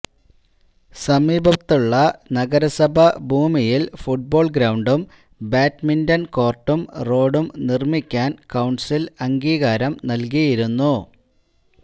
സമീപത്തുള്ള നഗരസഭ ഭൂമിയിൽ ഫുട്ബോൾ ഗ്രൌണ്ടും ബാഡ്മിൻറൺ കോർട്ടും റോഡും നിർമ്മിക്കാൻ കൌൺസിൽ അംഗീകാരം നൽകിയിരുന്നു